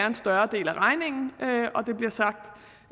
en større del af regningen